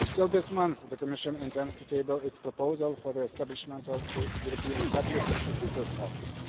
This month even, the Commission intends to table its proposal for the establishment of the European Public Prosecutor's Office.